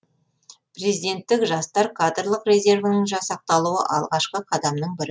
президенттік жастар кадрлық резервінің жасақталуы алғашқы қадамның бірі